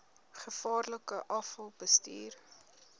gevaarlike afval bestuur